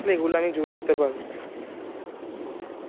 এই গুলা আমি জুড়ে দিতে পারবো